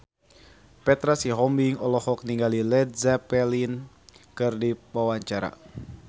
Petra Sihombing olohok ningali Led Zeppelin keur diwawancara